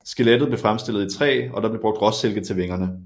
Skelettet blev fremstillet i træ og der blev brugt råsilke til vingerne